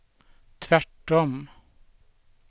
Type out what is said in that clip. tvärtom